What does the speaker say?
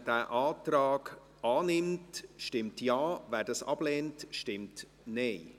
Wer den Antrag annimmt, stimmt Ja, wer dies ablehnt, stimmt Nein.